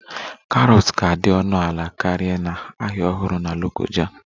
Carrots ga-adị ọnụ ala karịa na Ahịa Ọhụrụ na Lokoja